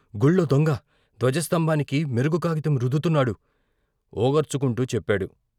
గుళ్ళో దొంగ ధ్వజస్థంభానికి మెరుగు కాగితం రుద్దుతున్నాడు ఒగర్చుకుంటూ చెప్పాడు.